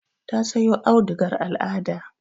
Ta sayo audugar al'ada.